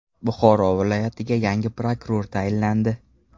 Buxoro viloyatiga yangi prokuror tayinlandi.